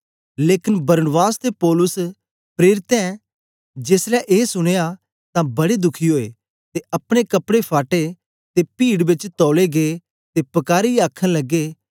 लेकन बरनबास ते पौलुस प्रेरितें जेसलै ए सुनया तां बड़े दुखी ओए ते अपने कपड़े फाटे ते पीड बेच तौलै गे ते पकारीयै आखन लगे